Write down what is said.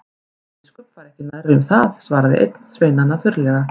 Ætli biskup fari ekki nærri um það, svaraði einn sveinanna þurrlega.